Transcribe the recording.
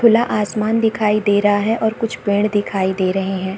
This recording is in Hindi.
खुला आसमान दिखाई दे रहा है और कुछ पेड़ दिखाई दे रहे हैं।